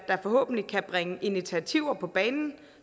der forhåbentlig kan bringe initiativer på banen